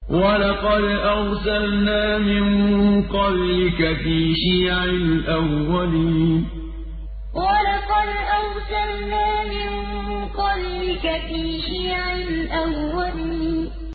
وَلَقَدْ أَرْسَلْنَا مِن قَبْلِكَ فِي شِيَعِ الْأَوَّلِينَ وَلَقَدْ أَرْسَلْنَا مِن قَبْلِكَ فِي شِيَعِ الْأَوَّلِينَ